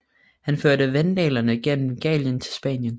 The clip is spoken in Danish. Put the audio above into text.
Han førte vandalerne gennem Gallien til Spanien